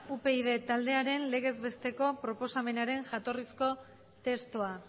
upyd taldearen legez besteko proposamenaren jatorrizko testua